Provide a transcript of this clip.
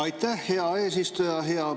Aitäh, hea eesistuja!